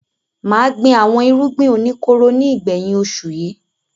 Mà gbin àwọn irúgbìn oníkóró ní ìgbẹ̀yìn oṣù yìí.